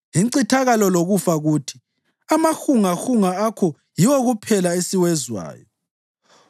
INcithakalo loKufa kuthi, “Amahungahunga akho yiwo kuphela esiwezwayo.”